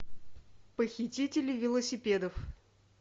похитители велосипедов